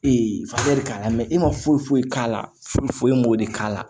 Ee fatu de k'a la e ma foyi foyi k'a la foyi foyi m'o de k'a la